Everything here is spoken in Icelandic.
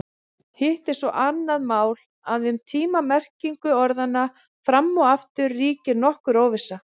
Hitt er svo annað mál að um tíma-merkingu orðanna fram og aftur ríkir nokkur óvissa.